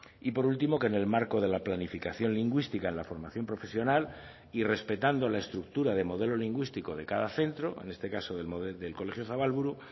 y por último que en el marco de la planificación lingüística en la formación profesional y respetando la estructura de modelo lingüístico de cada centro en este caso del colegio zabalburu